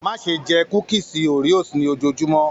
Má ṣe jẹ kúkísí Oreos ni ojoojumọ!